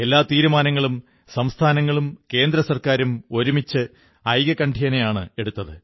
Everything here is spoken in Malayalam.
എല്ലാ തീരുമാനങ്ങളും സംസ്ഥാനങ്ങളും കേന്ദ്ര സർക്കാരും ഒരുമിച്ച് ഐകകണ്ഠ്യേനയാണ് എടുത്തത്